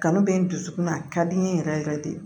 Kanu bɛ n dusukun na a ka di n ye yɛrɛ yɛrɛ de